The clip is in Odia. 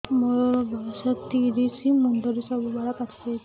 ମୋର ବୟସ ତିରିଶ ମୁଣ୍ଡରେ ସବୁ ବାଳ ପାଚିଯାଇଛି